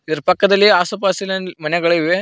ಇದರ ಪಕ್ಕದಲ್ಲಿ ಆಸು ಪಾಸಿನಲ್ಲಿ ಮನೆಗಳಿವೆ.